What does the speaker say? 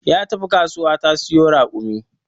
Ya tafi kasuwa ta siyo raƙumi